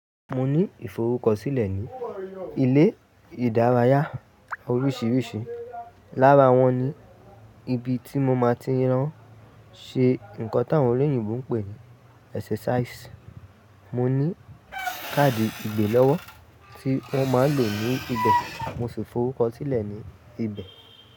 Mo ní ìforúkọ sílẹ̀ ní ilé ìdárayá oríṣiríṣi. Lára wọn ni ibi tí mo máa tí ń lo ṣe nǹkan tí àwọn olóyìnbo ń pè ní exercise. Mo ní káàdì ìgbè lọ́wọ́ tí wọ́n máa ń lò ní ibẹ̀, mo sì forúkọ sílẹ̀ ní ibẹ̀.